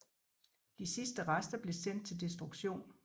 De sidste rester blev sendt til destruktion